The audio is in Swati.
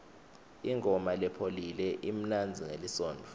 ingoma lepholile imnanzi ngelisontfo